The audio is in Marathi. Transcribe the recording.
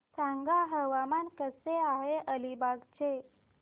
सांगा हवामान कसे आहे अलिबाग चे